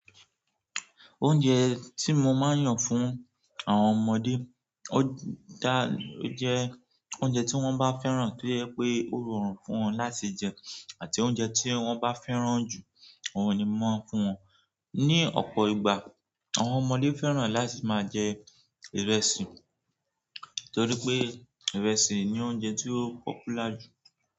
Oúnjẹ tí mo máa ń yàn fún àwọn ọmọdé, ó jẹ́ oúnjẹ tí wọ́n bá fẹ́ràn to je pé ó rọrùn fún wọn láti jẹ àti oúnjẹ tí wọ́n bá fẹ́ràn jù, ohun ni mò maa ń fún wọn. Ni ọ̀pọ̀ ìgbà, àwọn ọmọdé fẹ́ràn láti máa jẹ ìrẹsì torí pé ìrẹsì ni oúnjẹ ti ó popular jù.